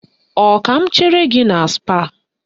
Ọ ka m chere gị na Spáà?